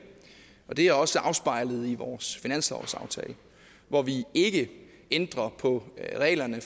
og det er også afspejlet i vores finanslovsaftale hvor vi ikke ændrer på reglerne